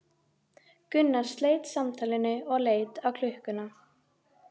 Gunnar sleit samtalinu og leit á klukkuna.